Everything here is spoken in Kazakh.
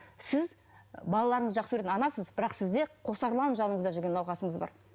сіз балаларыңызды жақсы көретін анасыз бірақ сізде қосарланып жаныңызда жүрген науқасыңыз бар